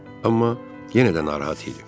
Amma yenə də narahat idi.